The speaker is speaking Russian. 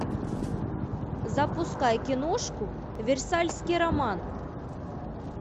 запускай киношку версальский роман